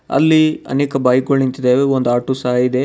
ಅಲ್ಲಿ ಅನೇಕ ಬೈಕ್ ಗುಳ್ ನಿಂತಿದವೆ ಒಂದ್ ಆಟೋ ಸಹ ಇದೆ.